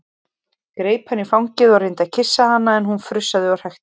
Greip hana í fangið og reyndi að kyssa hana en hún frussaði og hrækti.